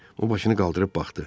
O başını qaldırıb baxdı.